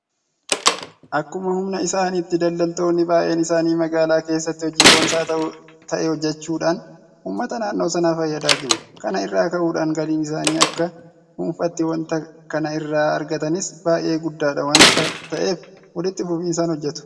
Akkuma humna isaaniitti daldaltoonni baay'een isaanii magaalaa keessatti hojii boonsaa ta'e hojjechuudhaan uummata naannoo sanaa fayyadaa jiru. Kana irraa ka'uudhaan galiin isaan akka dhuunfaatti waanta kana irraa argatanis baay'ee guddaadha waanta ta'eef walitti fufinsaan hojjetu.